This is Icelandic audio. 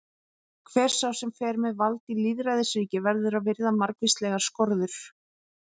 Hver sá sem fer með vald í lýðræðisríki verður að virða margvíslegar skorður.